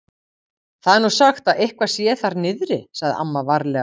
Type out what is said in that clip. Það er nú sagt að eitthvað sé þar niðri. sagði amma varlega.